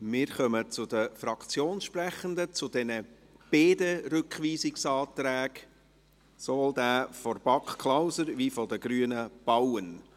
Wir kommen zu den Fraktionssprechenden zu beiden Rückweisungsanträgen, sowohl zum Antrag BaK/Klauser als auch zum Antrag Grüne/Bauen.